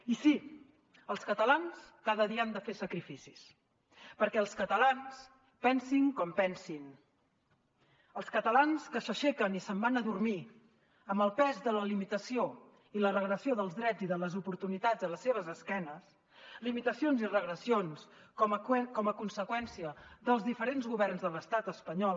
i sí els catalans cada dia han de fer sacrificis perquè els catalans pensin com pensin els catalans s’aixequen i se’n van a dormir amb el pes de la limitació i la regressió dels drets i de les oportunitats a la seva esquena limitacions i regressions com a conseqüència dels diferents governs de l’estat espanyol